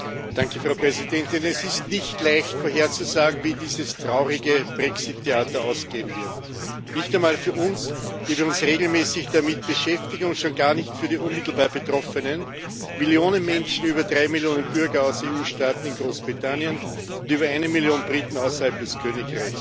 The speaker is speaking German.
Frau Präsidentin! Es ist nicht leicht vorherzusagen, wie dieses traurige Brexit Theater ausgehen wird. Nicht einmal für uns, die wir uns regelmäßig damit beschäftigen, und schon gar nicht für die unmittelbar Betroffenen Millionen Menschen, über drei Millionen Bürger aus EU Staaten in Großbritannien und über eine Million Briten außerhalb des Königreichs.